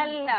അല്ല.